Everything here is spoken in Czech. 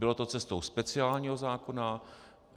Bylo to cestou speciálního zákona.